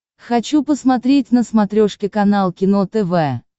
хочу посмотреть на смотрешке канал кино тв